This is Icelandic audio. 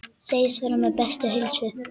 Segist vera við bestu heilsu.